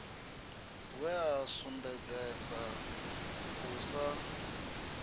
we a sumbedzesa u sa